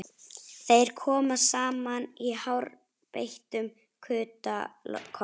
Þeir koma saman í hárbeittum kuta kokks